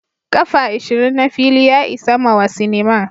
kafa ishirin na fili ya isa mawa cinema.